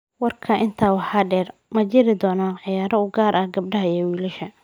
Warka Intaa waxaa dheer, ma jiri doonaan ciyaaro u gaar ah gabdhaha iyo wiilasha.